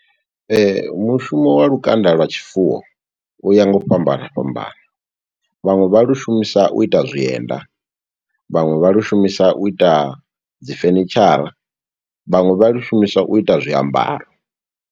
Mushumo wa lukanda lwa tshifuwo, u ya nga u fhambana fhambana. Vhaṅwe vha lu shumisa u ita zwienda, vhaṅwe vha lu shumisa u ita dzi fenitshara, vhaṅwe vha lu shumiswa u ita zwiambaro.